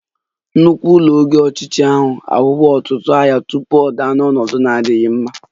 Nnukwu ụlọ oge ochie ahụ ahụwo ọtụtụ agha tupu ọ daa n'ọnọdụ na-adịghị mma